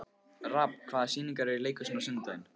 Rafn, hvaða sýningar eru í leikhúsinu á sunnudaginn?